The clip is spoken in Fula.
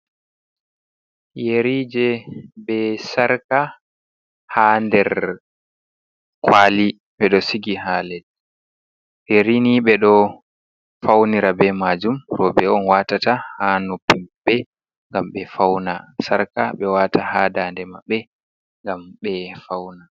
Yerije be sarka ha nder kwali, ɓe ɗo sigi ha leddi, yerini ɓe ɗo faunira be majum, roɓe on watata ha noppi maɓɓe gam ɓe fauna, sarka ɓe wata ha ndaande maɓɓe ngam ɓe fauna.